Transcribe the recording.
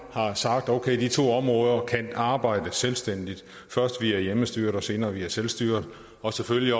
har sagt okay de to områder kan arbejde selvstændigt først via hjemmestyret og senere via selvstyret og selvfølgelig